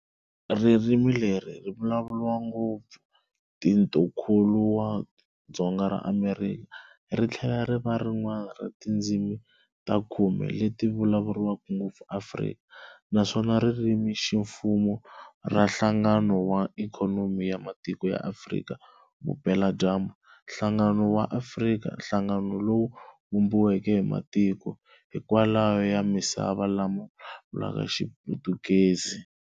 Ririmi leri ri vulavuriwa ngopfu Tikonkulu wa Dzonga ra Amerika, rithlela riva rin'wana ra tindzimi ta khume leti vulavuriwaka ngopfu Afrika, naswona iririmi-ximfumo ra Nhlangano wa Ikhonomi ya Matiko ya Afrika Vupela-dyambu, Nhlangano Wa Afrika, Nhlangano lowu vumbiweke hi matiko hinkwawo ya misava lama vulavulaka Xiputukezi.